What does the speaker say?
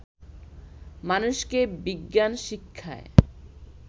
মানুষকে বিজ্ঞান শিক্ষায়